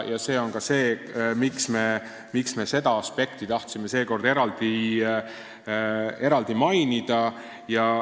See on ka põhjus, miks me seda aspekti tahtsime seekord eraldi mainida.